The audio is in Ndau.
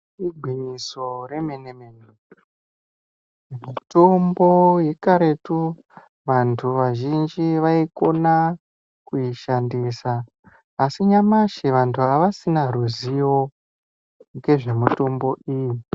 Igwinyiso remene-mene, mitombo yakaretu vantu vazhinji vaikona kuishandisa, asi nyamashi vantu avasisina ruzivo ngezvemitombo iyi.